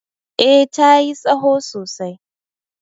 eh ta yi tsaho sosai